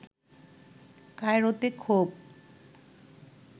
কায়রোতে ক্ষোভ